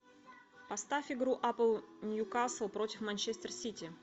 поставь игру апл ньюкасл против манчестер сити